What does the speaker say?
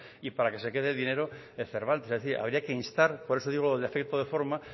y para que se quede el dinero el cervantes es decir habría que instar por eso digo el defecto de forma